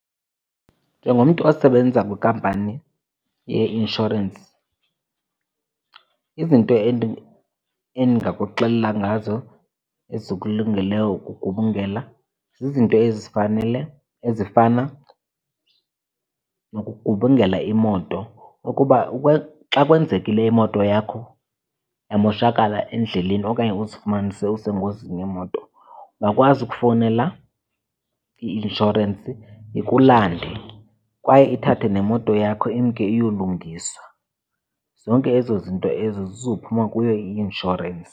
Njengomntu osebenzisa kwinkampani yeinshorensi izinto endingakuxelela ngazo ezikulungeleyo ukugubungela zizinto ezifanele, ezifana nokugubungela imoto. Ukuba xa kwenzekile imoto yakho yamoshakala endleleni okanye uzifumanise usengozini yemoto ungakwazi ukufowunela i-inshorensi ikulande kwaye ithathe nemoto yakho imke iyolungiswa. Zonke ezo zinto ezo zizophuma kuyo i-inshorensi.